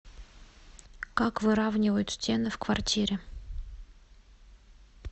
как выравнивают стены в квартире